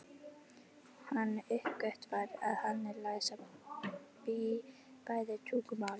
Hann uppgötvar að hann er læs á bæði tungumálin.